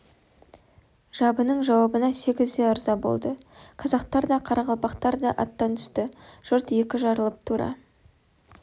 жабының жауабына сегіз де ырза болды қазақтар да қарақалпақтар да аттан түсті жұрт екі жарылып тура